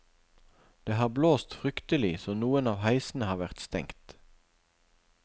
Det har blåst fryktelig, så noen av heisene har vært stengt.